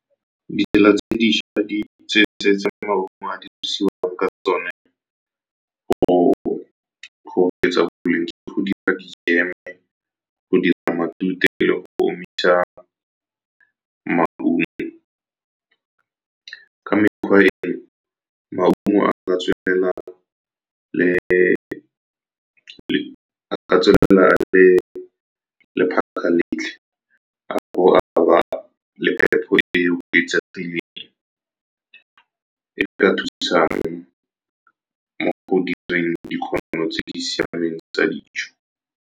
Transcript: Ditsela tse dišwa tse maungo a dirisiwang ka tsone go oketsa boleng ke go dira di-jam-e, go dira matute le go omisa maungo ka mekgwa e no. Maungo a ka tswelela a boa a ba le phepo e o e ka thusang mo go direng tse di siameng tsa dijo.